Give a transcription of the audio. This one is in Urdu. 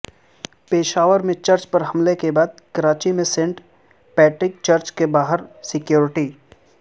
پشاور میں چرچ پر حملے کے بعد کراچی میں سینٹ پیٹرک چرچ کے باہر سکیورٹی